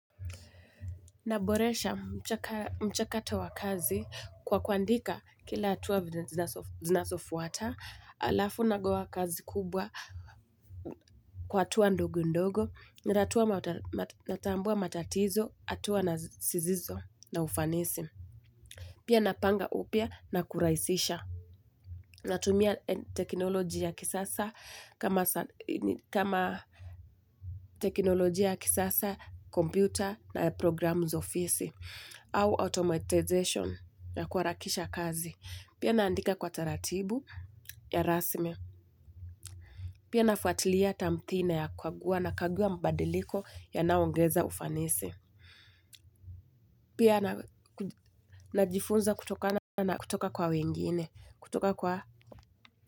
Naboresha mchakato wa kazi kwa kuandika kila hatua venye zinasofuata, alafu nagawa kazi kubwa kwa hatuwa ndogo ndogo, natambua matatizo, atuwa nasizizo na ufanisi. Pia napanga upia na kuraisisha. Natumia teknoloji ya kisasa kama teknoloji ya kisasa, computer na programu za office au automatization ya kuarakisha kazi. Pia naandika kwa taratibu ya rasmi. Pia nafuatilia tamthina ya kukaguwa na kaguwa mbadiliko yanayongeza ufanisi. Pia najifunza kutokana na kutoka kwa wengine kutoka kwa.